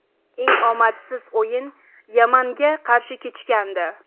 Eng omadsiz o‘yin Yamanga qarshi kechgandi.